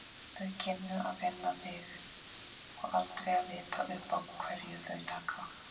Þau kynnu að finna þig og aldrei að vita uppá hverju þau taka.